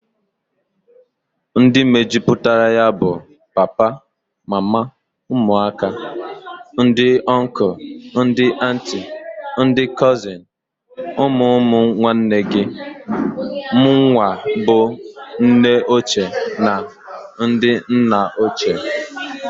Ndi mejuputara ya bụ, papa, mama, ụmụaka, ndị ọnkụl, ndị antị, ndị kọzịn, ụmụ ụmụ nwanne gi, munwa bu nne ochie na ndi nna ochie.